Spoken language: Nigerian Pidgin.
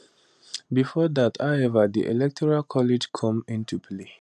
bifor dat however di electoral college come into play